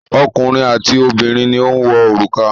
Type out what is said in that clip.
Ọkùnrin àti obìnrin ni ó ń wọ òrùka.